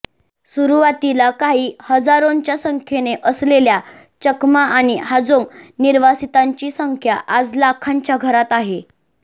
सुरुवातीला काही हजारोंच्या संख्येने असलेल्या चकमा आणि हाजोंग निर्वासितांची संख्या आज लाखांच्या घरात आहे